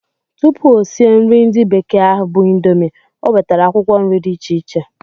Tụpụ o sie nri ndi bekee ahụ bu indomie, o wetara akwụkwọ nri dị iche iche